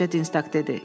balaca Dinstaq dedi.